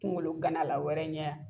Kungo gana la wɛrɛ ɲɛ a